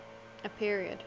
a period